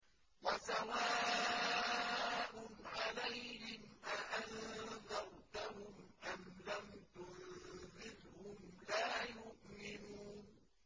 وَسَوَاءٌ عَلَيْهِمْ أَأَنذَرْتَهُمْ أَمْ لَمْ تُنذِرْهُمْ لَا يُؤْمِنُونَ